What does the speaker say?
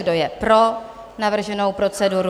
Kdo je pro navrženou proceduru?